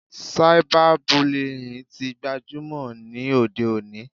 Cyber bullying tí gbajúmọ̀ ní òde òní.